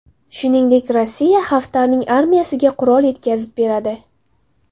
Shuningdek, Rossiya Xaftarning armiyasiga qurol yetkazib beradi.